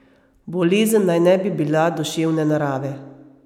Bolezen naj ne bi bila duševne narave.